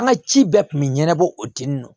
An ka ci bɛɛ tun bɛ ɲɛnabɔ o tini na